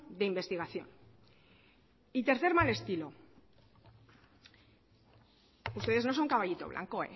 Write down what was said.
de investigación y tercer mal estilo ustedes no son caballito blanco